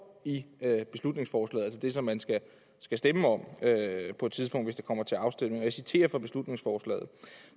i beslutningsforslaget altså det som man skal stemme om på et tidspunkt hvis det kommer til afstemning og jeg citerer fra beslutningsforslaget